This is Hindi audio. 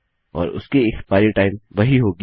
और उसकी एक्स्पाइरी टाइम वही होगी